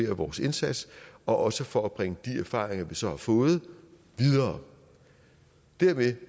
vores indsats og også for at bringe de erfaringer vi så har fået videre dermed